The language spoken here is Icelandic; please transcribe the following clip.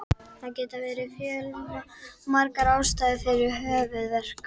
Það geta verið fjölmargar ástæður fyrir höfuðverk.